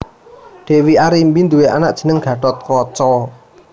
Dèwi Arimbi nduwé anak jenengé Gathotkaca